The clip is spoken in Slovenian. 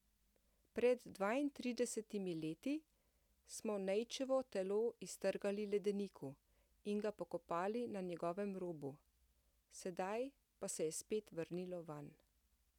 Pred dvaintridesetimi leti smo Nejčevo telo iztrgali ledeniku in ga pokopali na njegovem robu, sedaj pa se je spet vrnilo vanj ...